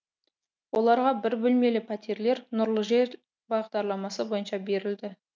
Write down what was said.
оларға бір бөлмелі пәтерлер нұрлы жер бағдарламасы бойынша берілді